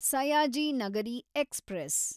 Sayaji Nagari express